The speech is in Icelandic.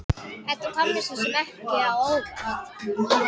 Þetta kom mér svo sem ekki á óvart.